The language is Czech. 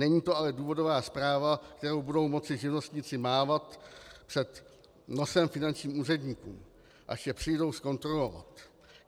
Není to ale důvodová zpráva, kterou budou moci živnostníci mávat před nosem finančním úředníkům, až je přijdou zkontrolovat.